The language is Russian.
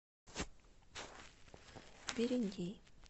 берендей